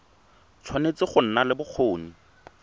tshwanetse go nna le bokgoni